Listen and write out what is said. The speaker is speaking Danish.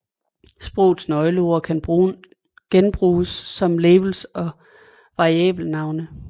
Sprogets nøgleord kan genbruges som labels og variabelnavne